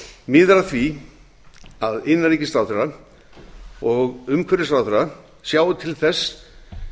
miðar að því að innanríkisráðherra og umhverfisráðherra sjái til þess